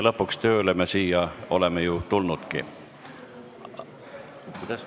Lõpuks oleme me siia ju tööle tulnudki.